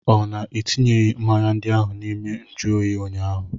Ọ na etinyeghị mmanya ndị ahụ n'ime nju oyi ụnyaahụ?